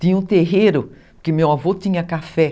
Tinha um terreiro, porque meu avô tinha café.